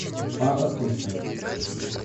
папа суши